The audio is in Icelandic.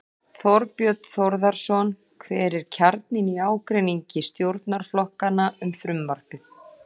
Þorbjörn Þórðarson: Hver er kjarninn í ágreiningi stjórnarflokkanna um frumvarpið?